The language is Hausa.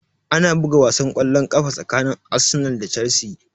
Ana buga wasan kwallon ƙafa tsakanin Arsenal da Chelsea